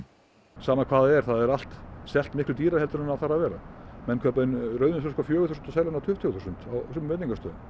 sama hvað það er það er allt selt miklu dýrara en það þarf að vera menn kaupa inn rauðvínsflösku á fjögur þúsund og selja á tuttugu þúsund á sumum veitingastöðum